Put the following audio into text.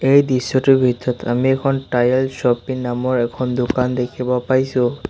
এই দৃশ্যটোৰ ভিতৰত আমি এখন টায়াল শ্ব'পি নামৰ এখন দোকান দেখিব পাইছোঁ।